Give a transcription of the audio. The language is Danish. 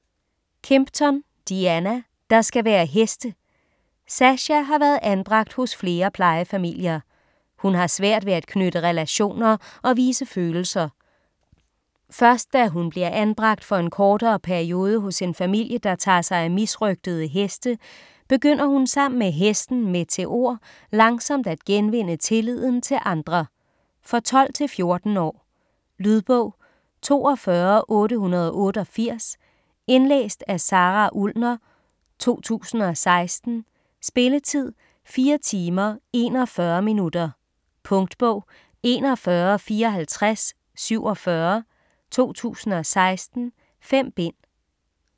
Kimpton, Diana: Der skal være heste Sasha har været anbragt hos flere plejefamilier. Hun har svært ved at knytte relationer og vise følelser. Først da hun bliver anbragt for en kortere periode hos en familie der tager sig af misrøgtede heste, begynder hun sammen med hesten Meteor langsomt at genvinde tilliden til andre. For 12-14 år. Lydbog 42888 Indlæst af Sara Ullner, 2016. Spilletid: 4 timer, 41 minutter. Punktbog 415447 2016. 5 bind.